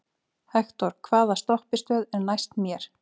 Hektor, hvaða stoppistöð er næst mér?